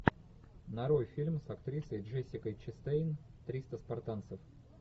нарой фильм с актрисой джессикой честейн триста спартанцев